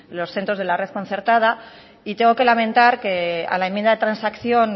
los centros de la red concertada y tengo que lamentar que a la enmienda de transacción